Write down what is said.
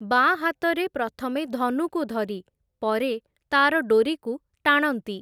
ବାଁ ହାତରେ ପ୍ରଥମେ ଧନୁକୁ ଧରି, ପରେ ତା’ର ଡ଼ୋରିକୁ ଟାଣନ୍ତି ।